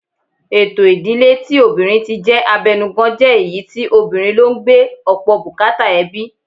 Ètò ìdíle tí obìnrin ti jẹ́ abẹnugan jẹ́ èyí tí obìnrin ló ń gbé ọ̀pọ̀ bùkátà ẹbí